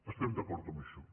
estem d’acord amb això